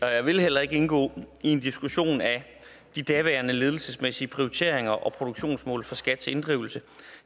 og jeg vil heller ikke indgå i en diskussion af de daværende ledelsesmæssige prioriteringer og produktionsmål for skats inddrivelse